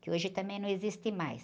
Que hoje também não existe mais.